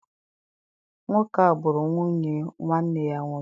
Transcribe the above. Nwoke a gburu nwunye nwanne ya nwoke.